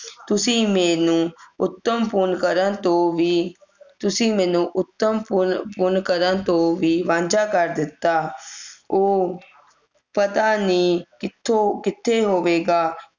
ਤੁਸੀਂ ਮੈਨੂੰ ਉੱਤਮ ਪੁੰਨ ਕਰਨ ਤੋਂ ਵੀ ਤੁਸੀਂ ਉੱਤਮ ਪੁੰਨ ਪੁੰਨ ਕਰਨ ਤੋਂ ਵੀ ਵਾਂਝਾ ਕਰ ਦਿੱਤਾ ਉਹ ਪਤਾ ਨਹੀਂ ਕਿਥੋਂ ਕਿਥੇ ਹੋਵੇਗਾ